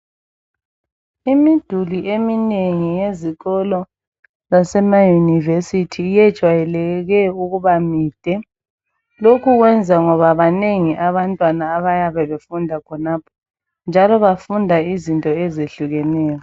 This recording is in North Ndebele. Imiduli eminengi yezikolo zasemaYunivesi yejwayeleke ukuba mide. Lokhu kwenza ngoba banengi abantwana abayabe befunda khonapho njalo bafunda izinto ezehlukeneyo.